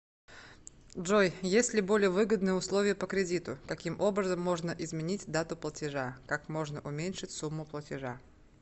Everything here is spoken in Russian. джой есть ли более выгодные условия по кредиту каким образом можно изменить дату платежа как можно уменьшить сумму платежа